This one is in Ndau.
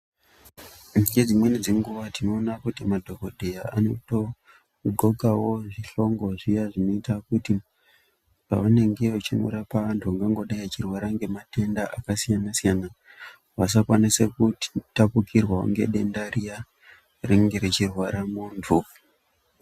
Ngedzimweni dzenguwa tinoona kuti madhokodheya anoto dhlokawo zvihlongo zviya zvinoita kuti pavanenge vechindorapa vantu vangangodai vachirwara ngematenda akasiyana-siyana vasakwanisa kutapukirwawo ngedenda riya rinenge richirwara muntu.